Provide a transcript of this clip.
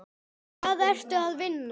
Hvar ertu að vinna?